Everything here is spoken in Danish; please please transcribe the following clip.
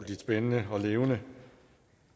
spændende og levende